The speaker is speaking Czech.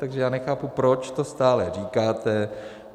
Takže já nechápu, proč to stále říkáte.